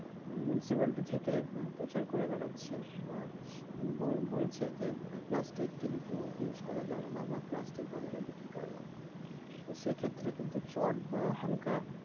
municipality থেকে প্রচার করে বেড়াচ্ছে বা বলছে যে মানে plastic কিন্তু use করা যাবে না বা plastic বাজারে বিক্রি করা যাবে না তোর সেক্ষেত্রে কিন্তু চটবা হালকা